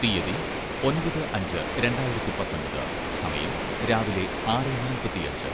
തീയതി, ഒമ്പത് അഞ്ച് രണ്ടായിരത്തി പത്തൊമ്പത്, സമയം, രാവിലെ ആറെ നാൽപ്പത്തിയഞ്ച്